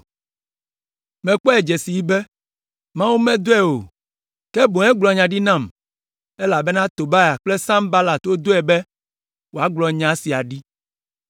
Mekpɔe dze sii be, Mawu medɔe o, ke boŋ egblɔ nya ɖi nam, elabena Tobia kple Sanbalat wodɔe be wòagblɔ nya sia ɖi.